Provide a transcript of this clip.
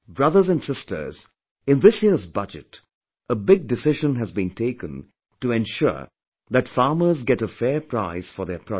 Brothers and sisters, in this year's budget a big decision has been taken to ensure that farmers get a fair price for their produce